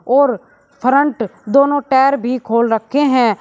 और फ्रंट दोनों टायर भी खोल रखे हैं।